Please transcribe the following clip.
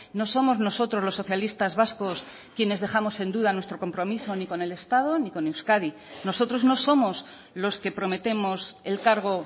no somos nosotros los socialistas vascos quienes dejamos en duda nuestro compromiso ni con el estado ni con euskadi nosotros no somos los que prometemos el cargo